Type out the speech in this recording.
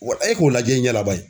Wa e k'o lajɛ i ɲɛna baye.